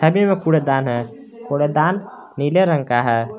आगे में कूड़ेदान है कूड़ेदान नीले रंग का है।